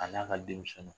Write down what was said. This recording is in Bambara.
A n'a ka denmisɛnninw